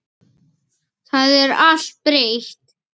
Það er allt breytt.